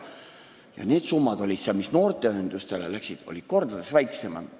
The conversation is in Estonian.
Need summad, mis noorteühendustele läksid, olid mitu korda väiksemad.